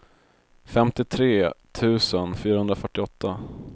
femtiotre tusen fyrahundrafyrtioåtta